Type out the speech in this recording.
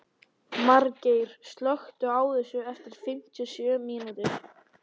Margeir, slökktu á þessu eftir fimmtíu og sjö mínútur.